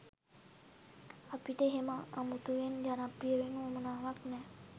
අපිට එහෙම අමුතුවෙන් ජනප්‍රිය වෙන්න වුවමනාවක් නැහැ.